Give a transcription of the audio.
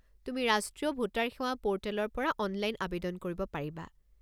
তুমি ৰাষ্ট্ৰীয় ভোটাৰ সেৱা পোৰ্টেলৰ পৰা অনলাইন আৱেদন কৰিব পাৰিবা।